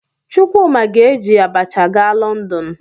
Chukwuma ga-eji abacha gaa Lọndọn.